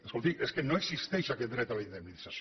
escolti és que no existeix aquest dret a la indemnització